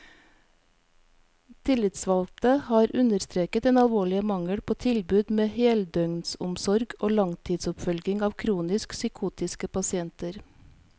Tillitsvalgte har understreket den alvorlige mangel på tilbud med heldøgnsomsorg og langtidsoppfølging av kronisk psykotiske pasienter.